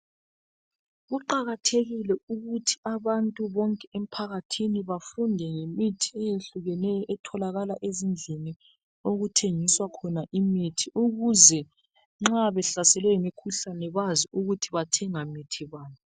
Kuqakathekile ukuthi abantu bonke emphakathini bafunde ngemithi eyehlukeneyo etholakala ezindlini okuthengiswa khona imithi ukuze nxa behlaselwe yimikhuhlane bazi ukuthi bathenga mithibani .